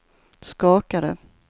skakade